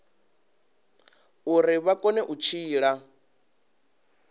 uri vha kone u tshila